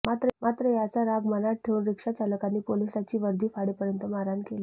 मात्र याचा राग मनात ठेऊन रिक्षाचालकांनी पोलिसाची वर्दी फाडेपर्यंत मारहाण केली